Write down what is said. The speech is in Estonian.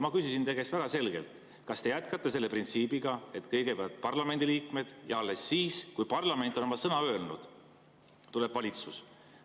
Ma küsisin teie käest väga selgelt, kas te jätkate selle printsiibiga, et kõigepealt parlamendiliikmed ja alles siis, kui parlament on oma sõna öelnud, tuleb valitsus.